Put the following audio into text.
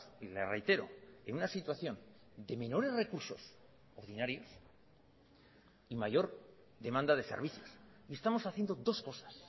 y le reitero en una situación de menores recurso ordinarios en mayor demanda de servicios y estamos haciendo dos cosas